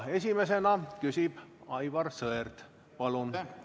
Esimesena küsib Aivar Sõerd, palun!